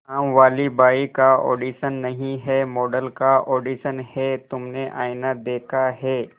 कामवाली बाई का ऑडिशन नहीं है मॉडल का ऑडिशन है तुमने आईना देखा है